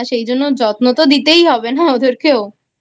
সেই জন্য যত্ন তো দিতেই হবে না ওদেরকেওI